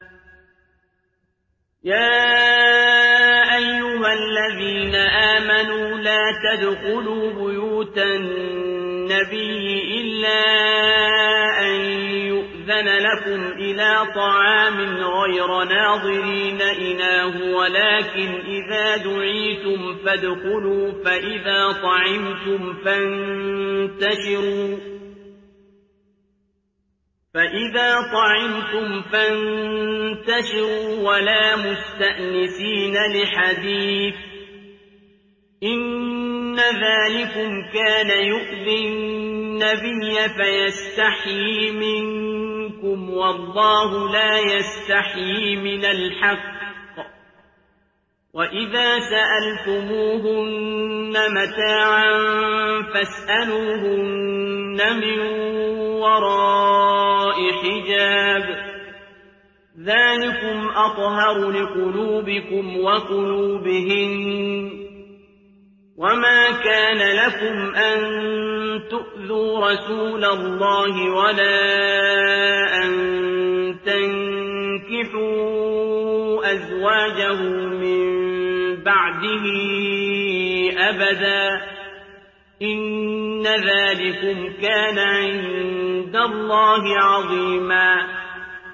يَا أَيُّهَا الَّذِينَ آمَنُوا لَا تَدْخُلُوا بُيُوتَ النَّبِيِّ إِلَّا أَن يُؤْذَنَ لَكُمْ إِلَىٰ طَعَامٍ غَيْرَ نَاظِرِينَ إِنَاهُ وَلَٰكِنْ إِذَا دُعِيتُمْ فَادْخُلُوا فَإِذَا طَعِمْتُمْ فَانتَشِرُوا وَلَا مُسْتَأْنِسِينَ لِحَدِيثٍ ۚ إِنَّ ذَٰلِكُمْ كَانَ يُؤْذِي النَّبِيَّ فَيَسْتَحْيِي مِنكُمْ ۖ وَاللَّهُ لَا يَسْتَحْيِي مِنَ الْحَقِّ ۚ وَإِذَا سَأَلْتُمُوهُنَّ مَتَاعًا فَاسْأَلُوهُنَّ مِن وَرَاءِ حِجَابٍ ۚ ذَٰلِكُمْ أَطْهَرُ لِقُلُوبِكُمْ وَقُلُوبِهِنَّ ۚ وَمَا كَانَ لَكُمْ أَن تُؤْذُوا رَسُولَ اللَّهِ وَلَا أَن تَنكِحُوا أَزْوَاجَهُ مِن بَعْدِهِ أَبَدًا ۚ إِنَّ ذَٰلِكُمْ كَانَ عِندَ اللَّهِ عَظِيمًا